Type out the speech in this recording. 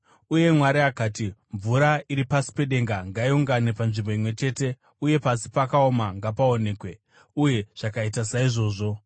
Uye Mwari akati, “Mvura iri pasi pedenga ngaiungane panzvimbo imwe chete, uye pasi pakaoma ngapaonekwe.” Uye zvakaita saizvozvo.